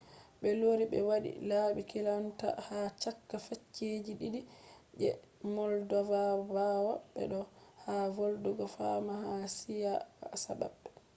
be lori be wadi labi kilanta ha chaka facceji didi je moldova bawo be do’e ha volugo fama ha siyasa mabbe